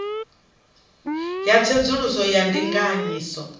ya tsedzuluso ya ndinganyiso i